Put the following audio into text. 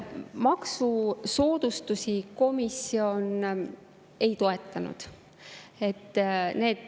Maksusoodustusi komisjon ei toetanud.